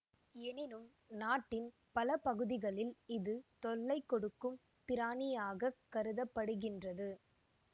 எனினும் நாட்டின் பல பகுதிகளில் இது தொல்லை கொடுக்கும் பிராணியாகக் கருத படுகின்றது